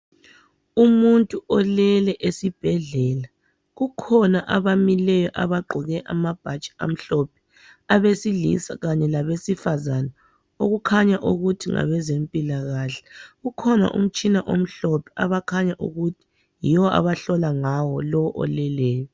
Umuntu olele esibhedlela kukhona abamileyo abagqoke amabhatshi amhlophe abesilisa kanye labesifazane okukhanya ukuthi ngabezempilakahle kukhona umtshina omhlophe abakhanya ukuthi yiwo abahlola ngawo lowo oleleyo